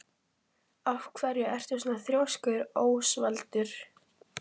Af hverju ertu svona þrjóskur, Ósvaldur?